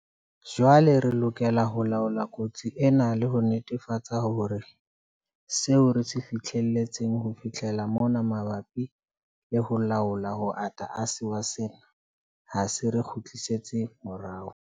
Jwale re lokela ho laola kotsi ena le ho netefatsa hore seo re se fihletseng ho fihlela mona mabapi le ho laola ho ata ha sewa sena ha se re kgutlisetse morao.